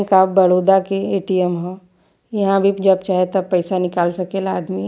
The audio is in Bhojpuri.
बैंक ऑफ़ बड़ोदा के ए.टी.एम ह इहाँ भी जब चाहे तब पैसा निकाल सकेला आदमी।